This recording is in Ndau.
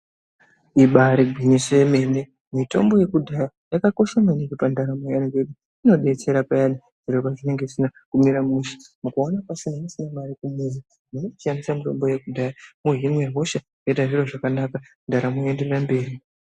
Ibaari gwinyiso remene mitombo yekudhaya yakakosha maningi pandaramo yaanhu ngekuti inodetsera peyani kana zviro zvisina kumire mushe mukaona kwasara musisina mare kumuzi munochishandise mitombo yokudhaya mwohinwe hosha zvoita zviro zvakanaka ndaramo yoenderera mberi.